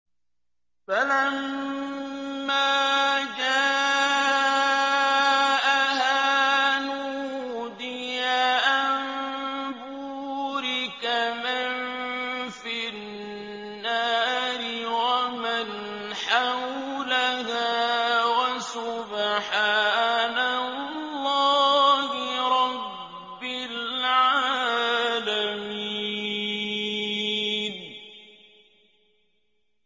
فَلَمَّا جَاءَهَا نُودِيَ أَن بُورِكَ مَن فِي النَّارِ وَمَنْ حَوْلَهَا وَسُبْحَانَ اللَّهِ رَبِّ الْعَالَمِينَ